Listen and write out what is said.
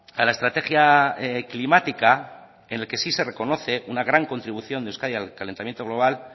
a la estrategia climática en el que sí se reconoce una gran contribución de euskadi al calentamiento global